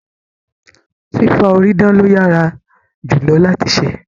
Fìfà orí dán lo yára jù lọ láti se